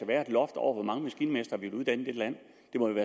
være et loft over hvor mange maskinmestre vi vil uddanne i dette land